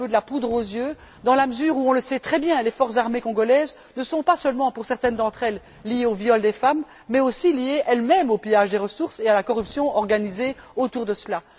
elle est un peu de la poudre aux yeux dans la mesure où on le sait très bien les forces armées congolaises ne sont pas seulement, pour certaines d'entre elles, liées au viol des femmes, mais aussi liées elles mêmes au pillage des ressources et à la corruption organisée autour de cela.